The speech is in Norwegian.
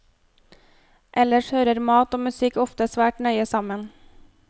Ellers hører mat og musikk ofte svært nøye sammen.